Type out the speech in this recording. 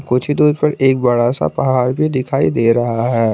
कुछि दुरी पे एक बड़ा सा पहाड़ भी दिखाई दे रहा है।